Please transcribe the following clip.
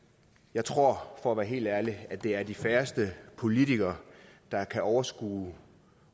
jeg tror for at være helt ærlig at det er de færreste politikere der kan overskue